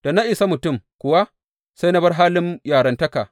Da na isa mutum kuwa, sai na bar halin yarantakata.